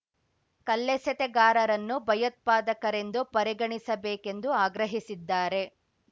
ಕಲ್ಲೆಸೆತಗಾರರನ್ನೂ ಭಯೋತ್ಪಾದಕರೆಂದು ಪರಿಗಣಿಸಬೇಕೆಂದು ಆಗ್ರಹಿಸಿದ್ದಾರೆ